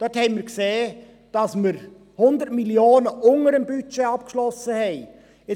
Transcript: Dort haben wir gesehen, dass wir 100 Mio. unter dem Budget abgeschlossen haben.